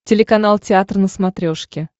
телеканал театр на смотрешке